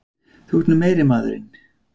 Þú ert nú meiri maðurinn!